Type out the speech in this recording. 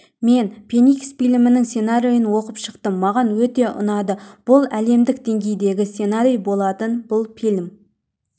мен феникс фильмінің сценарийін оқып шықтым маған өте ұнады бұл әлемдік деңгейдегі сценарий болатын бұл фильм